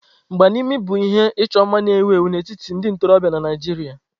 Mgba n'imi bụ ihe ịchọ mma na-ewu ewu n'etiti ndị ntorobịa na Naijiria.